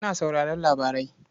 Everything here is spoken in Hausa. Ina sauraron labarai.